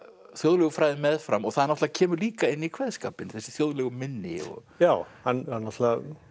þjóðlegu fræðum meðfram og það náttúrulega kemur líka inn í kveðskapinn þessi þjóðlegu minni og já hann náttúrulega